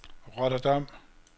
Rotterdam